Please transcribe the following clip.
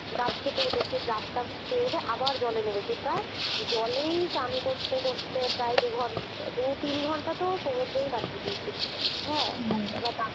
ডাব খেতে উঠেছি, ডাব টাব খেয়ে দেয়ে আবার জলে নেমেছি প্রায় জলেই চান করতে করতে প্রায় দু-ঘনটা দু-তিন ঘন্টা তো সমুদ্রেই কাটিয়ে দিয়েছি। হ্যাঁ